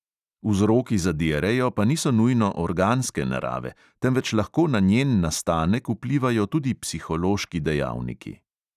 Vzroki za diarejo pa niso nujno organske narave, temveč lahko na njen nastanek vplivajo tudi psihološki dejavniki.